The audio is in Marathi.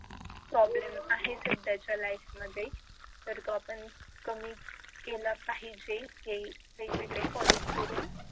problem आहेच सध्याच्या life मध्ये तर तो आपण कमी केला पाहिजे हे वेगवेगळे follow करून